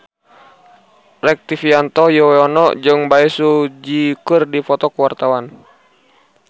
Rektivianto Yoewono jeung Bae Su Ji keur dipoto ku wartawan